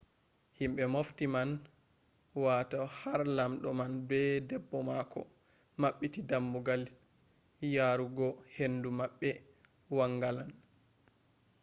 himɓe mofti man wata har lamɗo man be debbo mako maɓɓiti dammugal yaru go hendu maɓɓe wangalan